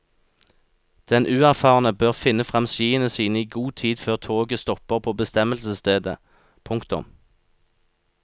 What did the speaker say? Den uerfarne bør finne frem skiene sine i god tid før toget stopper på bestemmelsesstedet. punktum